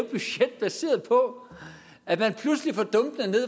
baseret på at der pludselig